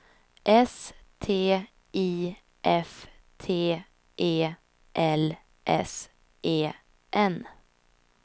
S T I F T E L S E N